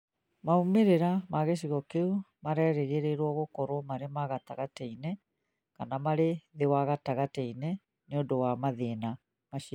Maumĩrĩra ma gĩcigo kĩu marerĩgĩrĩrũo gũkorũo marĩ ma gatagatĩ-inĩ kana marĩ thĩ wa gatagatĩ-inĩ nĩ ũndũ wa mathĩna macio.